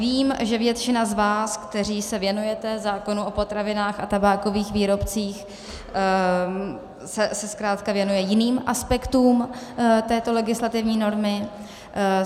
Vím, že většina z vás, kteří se věnujete zákonu o potravinách a tabákových výrobcích, se zkrátka věnuje jiným aspektům této legislativní normy.